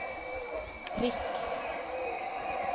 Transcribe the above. prikk